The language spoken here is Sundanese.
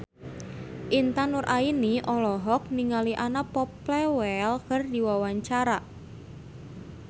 Intan Nuraini olohok ningali Anna Popplewell keur diwawancara